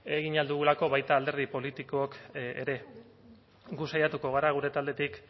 egin ahal dugulako baita alderdi politikok ere gu saiatuko gara gure taldetik